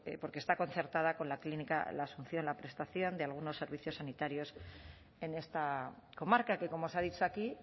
porque está concertada con la clínica asunción la prestación de algunos servicios sanitarios en esta comarca que como se ha dicho aquí